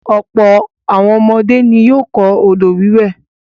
Ọ̀pọ̀ àwọn ọmọdé ni yóò kọ́ odò-wíwẹ̀.